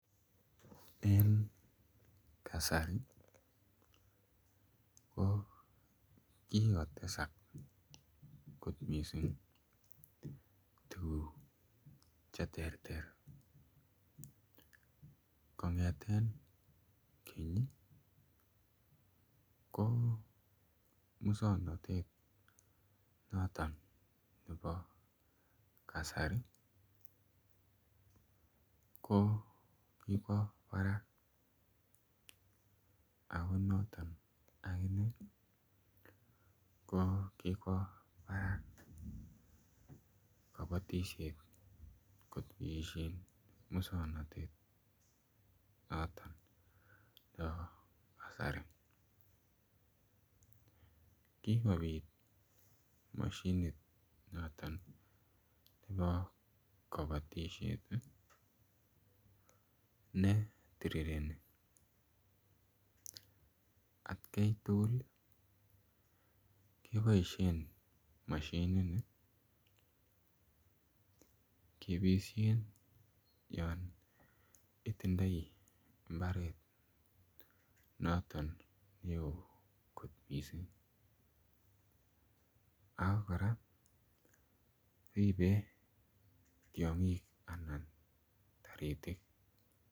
En kasari ko kikotesak kot missing tuguk cheterter kong'eten keny ko muswongnotet noton nebo kasari ko kikwo barak ako noton akinee ko kikwo barak kobotisiet kotiengei muswongnotet noton nebo kasari kikobit moshinit noton nebo kobotisiet ih netirireni atkai tugul ih keboisien moshinit ni kebesien yon itindoi mbaret noton yeoo kot missing ako kora ribe tiong'ik ana taritik